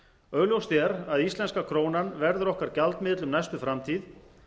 augljóst er að íslenska krónan verður okkar gjaldmiðill um næstu framtíð